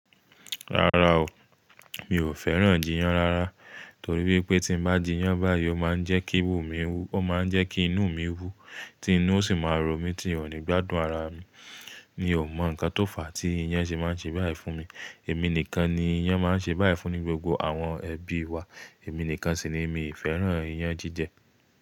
Rárá o, mi ò fẹ́ràn jiyán rárá torí pé tí mo bá jiyán báyìí ó máa ń jẹ́ kí inu mi wú, ó máa ń jẹ́ kí inú mi wú, tí inú o sì máa ń ro mí tí un ò ní gbádùn ara mi. Mi ò mọ ǹkan tó fà á tí iyán ṣe máa ń ṣe báyìí fún mi. Èmi nìkan ni iyán máa ń ṣe báyìí fún ní gbogbo àwọn ẹbí wa, èmi nìkan sì ni mi ì fẹ́ràn iyán jíjẹ.